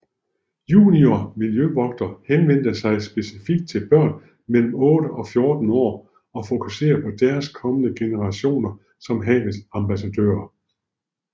Juniorhavmiljøvogter henvender sig specifikt til børn mellem 8 og 14 år og fokuserer på de kommende generationer som havets ambassadører